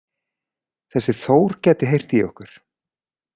Þessi Þór gæti heyrt í okkur